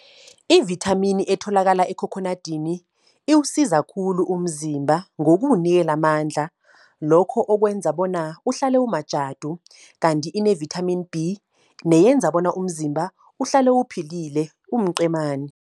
I-vithamini etholakala ekhokhonadini, iwusiza khulu umzimba ngokuwunikela amandla. Lokho okwenza bona uhlale umajadu, kanti ine-vithamini B, neyenza bona umzimba, uhlale uphilile umqemani.